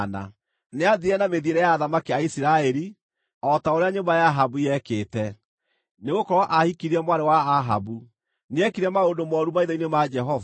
Nĩathiire na mĩthiĩre ya athamaki a Isiraeli, o ta ũrĩa nyũmba ya Ahabu yekĩte, nĩgũkorwo aahikirie mwarĩ wa Ahabu. Nĩekire maũndũ mooru maitho-inĩ ma Jehova.